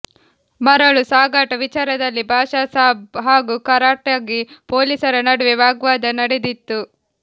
ಮರಳು ಸಾಗಾಟ ವಿಚಾರದಲ್ಲಿ ಭಾಷಾಸಾಬ್ ಹಾಗೂ ಕಾರಟಗಿ ಪೊಲೀಸರ ನಡುವೆ ವಾಗ್ವಾದ ನಡೆದಿತ್ತು